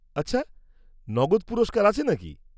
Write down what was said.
-আচ্ছা, নগদ পুরস্কার আছে নাকি?